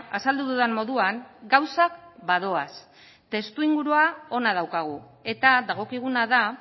azaldu dudan moduan gauzak badoaz testuinguru ona daukagu eta dagokiguna da